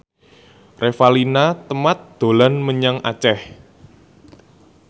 Revalina Temat dolan menyang Aceh